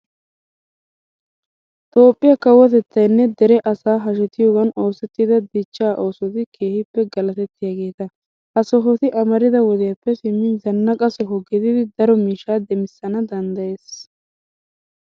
Toophphiya Kawotettaynne dere asay hashetiyogan oosettiidda dichchaa oosoti keehippe galatettiyageeta. Ha sohoti amarida woodiyappe simmin zannaqa soho gididi daro miishshaa demissana danddayees.